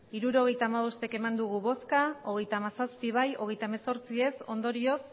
hirurogeita hamabost eman dugu bozka hogeita hamazazpi bai hogeita hemezortzi ez ondorioz